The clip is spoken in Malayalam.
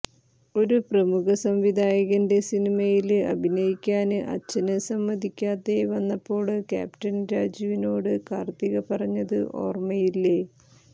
ഒരു പ്രമുഖ സംവിധായകന്റെ സിനിമയില് അഭിനയിക്കാന് അച്ഛന് സമ്മതിക്കാതെ വന്നപ്പോള് ക്യാപ്റ്റന് രാജുവിനോട് കാര്ത്തിക പറഞ്ഞത് ഓര്മ്മയില്ലെ